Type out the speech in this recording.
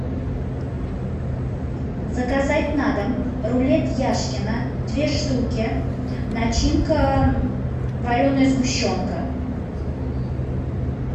заказать на дом рулет яшкино две штуки начинка вареная сгущенка